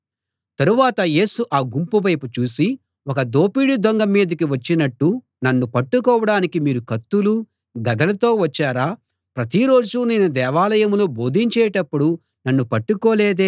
తరువాత యేసు ఆ గుంపు వైపు చూసి ఒక దోపిడీ దొంగ మీదికి వచ్చినట్టు నన్ను పట్టుకోడానికి మీరు కత్తులు గదలతో వచ్చారా ప్రతి రోజూ నేను దేవాలయంలో బోధించేటప్పుడు నన్ను పట్టుకోలేదే